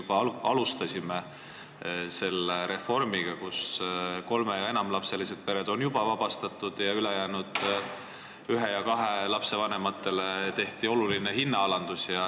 Me juba alustasime selle reformiga: kolme- ja enamalapselised pered on juba sellest tasust vabastatud ja ülejäänutele, ühe ja kahe lapse vanematele on tehtud oluline hinnaalandus.